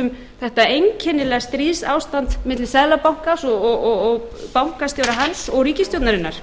um þetta einkennilega stríðsástand milli seðlabankans bankastjóra hans og ríkisstjórnarinnar